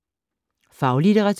Faglitteratur